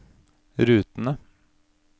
rutene